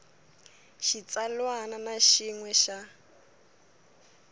xitsalwana na xin we xa